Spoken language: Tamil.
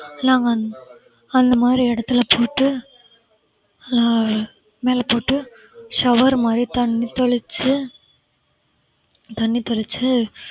எல்லாம் வந்து அந்த மாதிரி இடத்துல போட்டு அஹ் மேல போட்டு shower மாதிரி தண்ணி தெளிச்சு தண்ணி தெளிச்சு